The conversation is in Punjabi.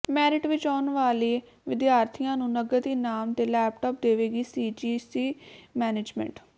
ਮੈਰਿਟ ਵਿੱਚ ਆਉਣ ਵਾਲੇ ਵਿਦਿਆਰਥੀਆਂ ਨੂੰ ਨਗਦ ਇਨਾਮ ਤੇ ਲੈਪਟਾਪ ਦੇਵੇਗੀ ਸੀਜੀਸੀ ਮੈਨੇਜਮੈਂਟ